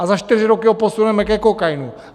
A za čtyři roky ho posuneme ke kokainu.